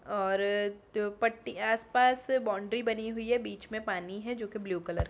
और अ पट्टी आस-पास बाउंड्री बनी हुई है बीच में पानी है जो ब्लू कलर --